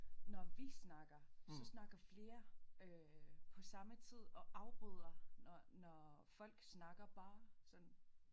Når vi snakker så snakker flere øh på samme tid og afbryder når når folk snakker bare sådan